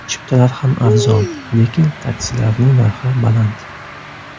Chiptalar ham arzon, lekin taksilarining narxi baland.